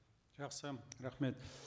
жақсы рахмет